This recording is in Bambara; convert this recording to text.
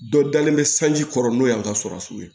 Dɔ dalen bɛ sanji kɔrɔ n'o y'an ka surasu ye